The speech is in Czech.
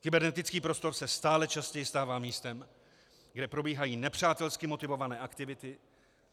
Kybernetický prostor se stále častěji stává místem, kde probíhají nepřátelsky motivované aktivity.